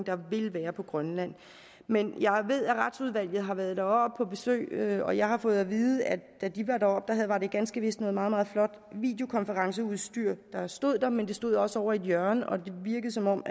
på grønland men jeg ved at retsudvalget har været deroppe på besøg og jeg har fået at vide at da de var deroppe var det ganske vist noget meget meget flot videokonferenceudstyr der stod der men det stod også ovre i et hjørne og det virkede som om